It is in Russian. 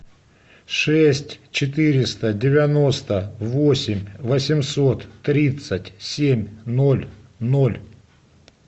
шесть четыреста девяносто восемь восемьсот тридцать семь ноль ноль